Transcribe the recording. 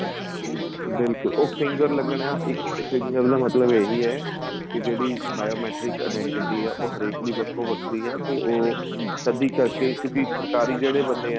ਬਿਲਕੁਲ ਉਹ finger ਲੱਗਣਾ ਇੱਕ finger ਲੱਗਣ ਮਤਲਬ ਏ ਹੀ ਹੈ ਕੀ ਜਿਹੜੀ bio matrix identity ਆਂ ਉਹ ਹਰੇਕ ਦੀ ਵੱਖੋ ਵੱਖਰੀ ਏ ਤੇ ਉਹ ਕਦੀਂ ਕਰਕੇ ਕਿਉਂਕਿ ਸਰਕਾਰੀ ਜਿਹੜੇ ਬੰਦੇ ਏ